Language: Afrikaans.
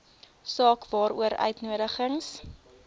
saak waaroor uitnodigings